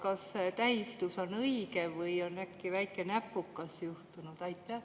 Kas see tähistus on õige või on äkki väike näpukas juhtunud?